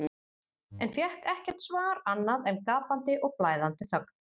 en fékk ekkert svar annað en gapandi og blæðandi þögn.